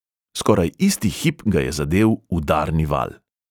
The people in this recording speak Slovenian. Skoraj isti hip ga je zadel udarni val.